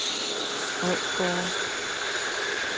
Odsgårde